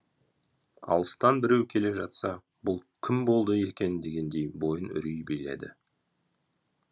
алыстан біреу келе жатса бұл кім болды екен дегендей бойын үрей биледі